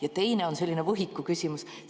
Ja teine on selline võhiku küsimus.